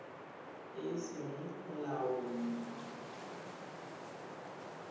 e e seng mo molaong